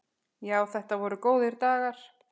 Já, þetta voru góðir dagar.